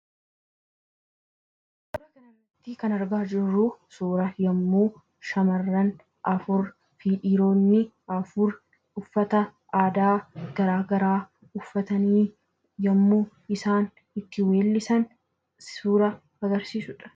Kan argaa jirru suuraa yommuu shamarran afur fi dhiironni afur uffata aadaa garaagaraa uffatanii yommuu isaan itti weellisan suuraa agarsiisu dha.